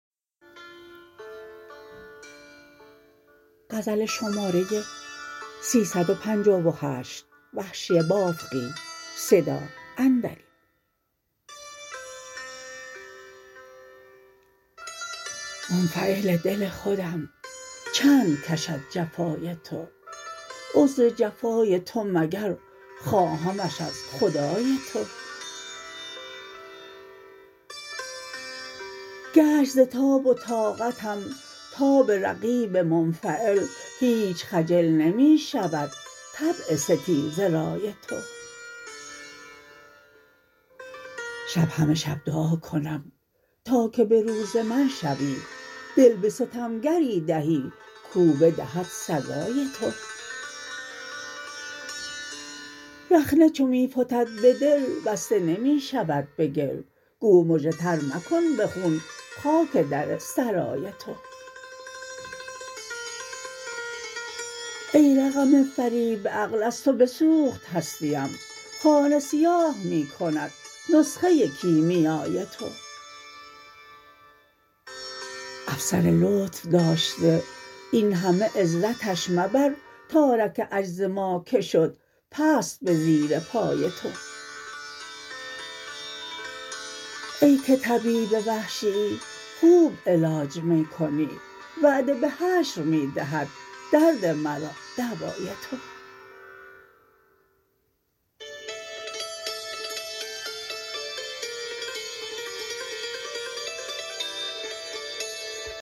منفعل دل خودم چند کشد جفای تو عذر جفای تو مگر خواهمش از خدای تو گشت ز تاب و طاقتم تاب رقیب منفعل هیچ خجل نمی شود طبع ستیزه رای تو شب همه شب دعا کنم تا که به روز من شوی دل به ستمگری دهی کو بدهد سزای تو رخنه چو میفتد به دل بسته نمی شود به گل گو مژه تر مکن به خون خاک در سرای تو ای رقم فریب عقل از تو بسوخت هستیم خانه سیاه می کند نسخه کیمیای تو افسر لطف داشته این همه عزتش مبر تارک عجز ما که شد پست به زیر پای تو ای که طبیب وحشیی خوب علاج می کنی وعده به حشر می دهد درد مرا دوای تو